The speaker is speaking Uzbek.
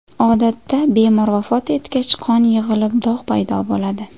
Odatda bemor vafot etgach, qon yig‘ilib dog‘ paydo bo‘ladi.